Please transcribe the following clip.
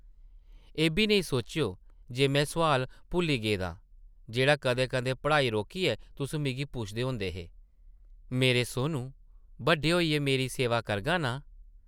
एब्बी नेईं सोचेओ जे में सोआल भुल्ली गेदां जेह्ड़ा कदें-कदें पढ़ाई रोकियै तुस मिगी पुछदे होंदे हे... मेरे सोनू, बड्डे होइयै मेरी सेवा करगा नां ?